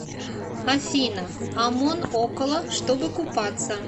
афина амон около чтобы купаться